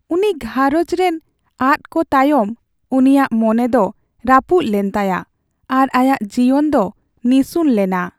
ᱩᱱᱤ ᱜᱷᱟᱨᱚᱸᱡᱽ ᱨᱮᱱ ᱟᱫ ᱠᱚ ᱛᱟᱭᱚᱢ , ᱩᱱᱤᱭᱟᱜ ᱢᱚᱱᱮ ᱫᱚ ᱨᱟᱹᱯᱩᱫ ᱞᱮᱱ ᱛᱟᱭᱟ ᱟᱨ ᱟᱭᱟᱜ ᱡᱤᱭᱚᱱ ᱫᱚ ᱱᱤᱥᱩᱱ ᱞᱮᱱᱟ ᱾